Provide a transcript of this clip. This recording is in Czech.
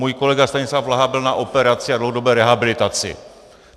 Můj kolega Stanislav Blaha byl na operaci a dlouhodobé rehabilitaci.